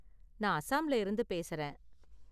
நான் அசாம்ல இருந்து பேசுறேன்.